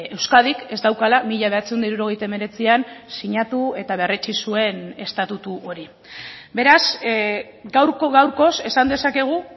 euskadik ez daukala mila bederatziehun eta hirurogeita hemeretzian sinatu eta berretsi zuen estatutu hori beraz gaurko gaurkoz esan dezakegu